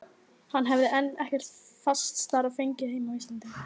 Hann hefði enn ekkert fast starf fengið heima á Íslandi.